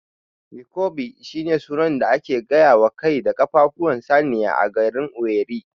Nkwobi shine sunan da ake gayawa kai da ƙafafuwan saniya a garin Owerri